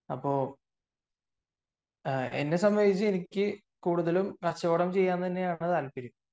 അപ്പൊ എന്നെ സംബന്ധിച്ച് എനിക്ക് കൂടുതലും കച്ചവടം ചെയ്യാൻ തന്നെയാണ് താല്പര്യം